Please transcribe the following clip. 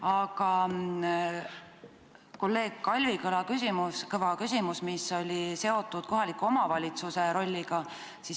Aga kolleeg Kalvi Kõva küsimus oli seotud kohaliku omavalitsuse rolliga.